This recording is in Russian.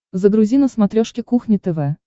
загрузи на смотрешке кухня тв